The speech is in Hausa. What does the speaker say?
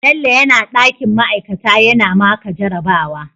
Bello yana dakin ma'aikata yana maka jarabawa